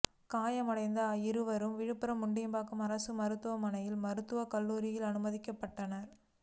காயமடைந்த இருவரும் விழுப்புரம் முண்டியம்பாக்கம் அரசு மருத்துவமனை மருத்துவக் கல்லூரியில் அனுமதிக்கப்பட்டனா்